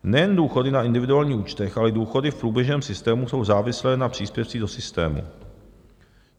Nejen důchody na individuálních účtech, ale i důchody v průběžném systému jsou závislé na příspěvcích do systému.